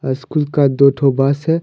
School का दो ठो बस है।